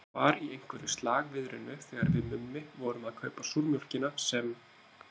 Það var í einhverju slagviðrinu þegar við Mummi vorum að kaupa súrmjólkina sem